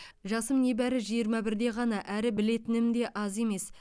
жасым небәрі жиырма бірде ғана әрі білетім де аз емес